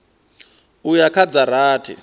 u ya kha dza rathi